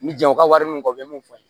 N mi janw ka wari min fɔ u ye mun fɔ n ye